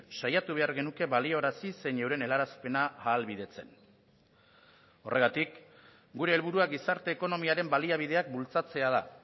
saiatu behar genuke baliarazi zein euren helarazpena ahalbidetzen horregatik gure helburua gizarte ekonomiaren baliabideak bultzatzea da